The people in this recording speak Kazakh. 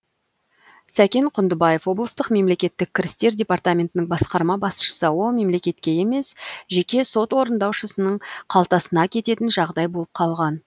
сәкен құндыбаев облыстық мемлекеттік кірістер департаментінің басқарма басшысы ол мемлекетке емес жеке сот орындаушысының қалтасына кететін жағдай болып қалған